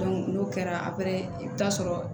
n'o kɛra i bi taa sɔrɔ